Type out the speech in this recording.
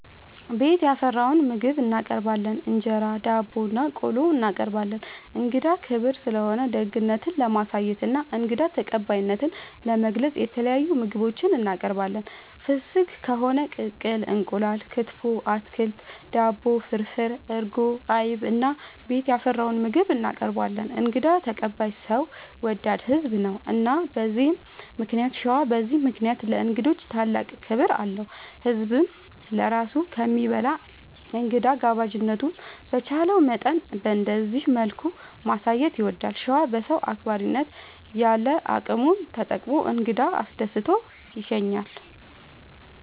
ቤት ያፈራውን ምግብ እናቀርባለን እንጀራ፣ ዳቦናቆሎ እናቀርባለን። እንግዳ ክብር ስለሆነ ደግነት ለማሳየትና እንግዳ ተቀባይነትን ለመግለፅ የተለያዩ ምግቦች እናቀርባለን። ፍስግ ከሆነ ቅቅል እንቁላል፣ ክትፎ፣ አትክልት፣ ዳቦ፣ ፍርፍር፣ እርጎ፣ አይብ እና ቤት ያፈራውን ምግብ እናቀርባለን እንግዳ ተቀባይ ሰው ወዳድ ህዝብ ነው። እና በዚህ ምክንያት ሸዋ በዚህ ምክንያት ለእንግዶች ታላቅ ክብር አለው። ህዝብም ለራሱ ከሚበላ እንግዳ ጋባዥነቱን በቻለው መጠን በእንደዚህ መልኩ ማሳየት ይወዳል። ሸዋ በሰው አክባሪነት ያለ አቅሙን ተጠቅሞ እንግዳ አስደስቶ ይሸኛል።